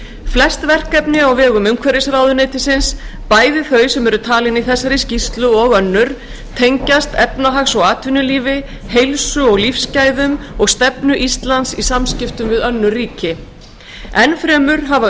flest verkefni á vegum umhverfisráðuneytisins bæði þau sem eru talin í þessari skýrslu og önnur tengjast efnahags og atvinnulífi heilsu og lífsgæðum og stefnu íslands í samskiptum við önnur ríki enn fremur hafa